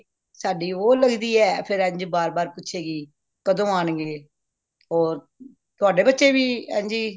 ਸਾਡੀ ਵੋ ਲਗਦੀ ਏ ਫੇਰ ਇੰਝ ਬਾਰ ਬਾਰ ਪੁੱਛੇਗੀ ਕਦੋ ਆਣ ਗੇ ਹੋਰ ਤੁਹਾਡੇ ਬਚੇ ਵੀ ਇੰਝ ਹੀ